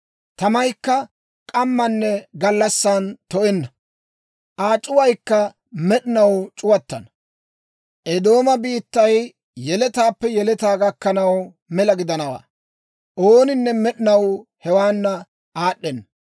Tamaykka k'amman gallassan to"enna; Aa c'uwaykka med'inaw c'uwattana. Eedooma biittay yeletaappe yeletaa gakkanaw, mela gidanawaa; ooninne med'inaw hewaana aad'd'ena.